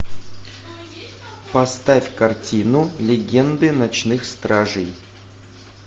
поставь картину легенды ночных стражей